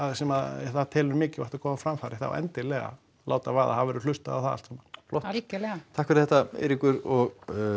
sem að það telur mikilvægt að koma á framfæri þá endilega láta vaða það verður hlustað á það allt saman flott algjörlega takk fyrir þetta Eiríkur og